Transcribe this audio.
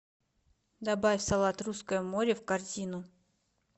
добавь салат русское море в корзину